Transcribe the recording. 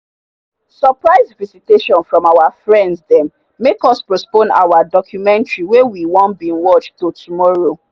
surprise visitation from our friend them make us postpone our documentary wey we want bin watch to tomorrow.